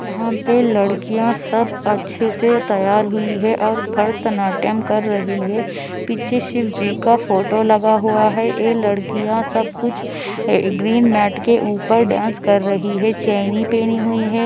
तीन लड़कियाँ सब अच्छे से तैयार हुई है और भरतनाट्यम कर रही है पीछे शिव जी का फोटो लगा हुआ है यह लड़कियाँ सब कुछ आ ग्रीनमेट के ऊपर डांस कर रही है चेनी पहनी हुई है।